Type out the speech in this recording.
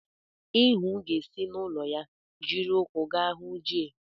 Ihuu ga-esi n'ụlọ ya jiri ụkwụ gaa hụ Jay.